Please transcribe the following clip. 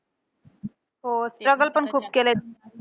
हो struggle पण खूप केलेत.